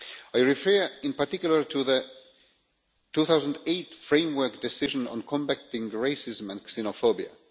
I refer in particular to the 2008 Framework Decision on combating racism and xenophobia.